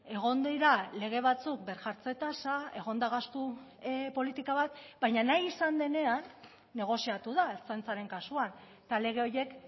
egon dira lege batzuk birjartze tasa egon da gastu politika bat baina nahi izan denean negoziatu da ertzaintzaren kasuan eta lege horiek